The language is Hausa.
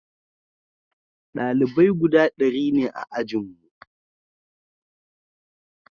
dalibai guda dari ne a ajinmu